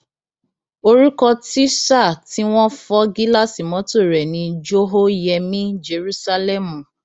orúkọ tísà tí wọn fọ gíláàsì mọtò rẹ ni jòhóyẹmí jerúsálẹmù